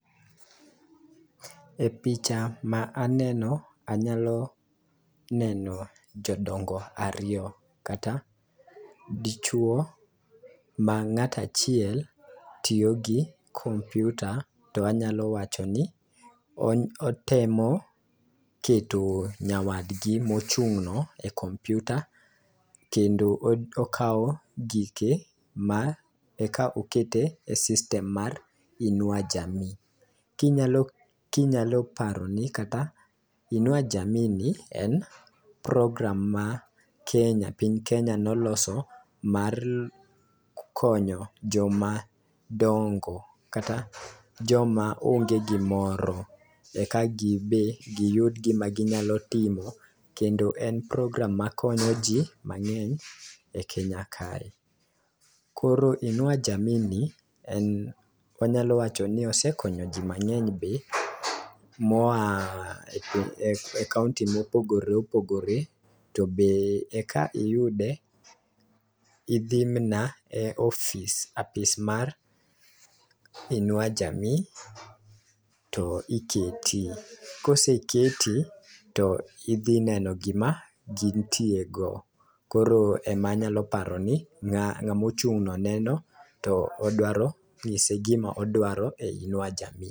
E picha ma aneno , anyalo neno jodongo ariyo kata dichuo ma ng'ata chiel tiyo gi kompiuta. To anyalo wacho ni otemo keto nyawadgi mochung' no e kompiuta kendo okawo gike ma eka oket e system mar inua jamii. Kinyalo kinyalo paro ni inua jamii ni en program ma kenya ma piny kenya noloso mar konyo joma dongo kata joma onge gimoro eka gibe giyud gima ginyalo timo kendo en program makonyo jii mang'eny e kenya kae .Koro inua jamii ni en wanyalo wacho no osekonyo jii mang'eny be moa e kaunti mopogore opogore. To be eka iyude idhi mana e ofis apis mar inua jamii to iketi .Koseketi to idhi neno gima gintie go. koro ema nyalo paro ni ngamo chung' no neno todwa nyise gima odwaro e inua jamii.